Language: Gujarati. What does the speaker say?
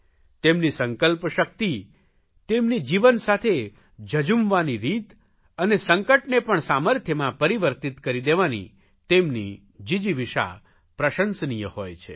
તેમની સંકલ્પ શકિત તેમની જીવન સાથે ઝઝૂમવાની રીત અને સંકટને પણ સામર્થ્યમાં પરિવિર્તત કરી દેવાની તેમની જીજિવિષા પ્રશંસનીય હોય છે